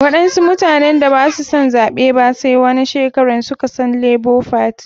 Waɗansu mutanen da basu san zaɓe ba sai wanan shekaran suka san lebo fati.